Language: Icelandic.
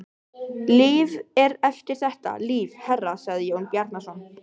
Líf er eftir þetta líf, herra, sagði Jón Bjarnason.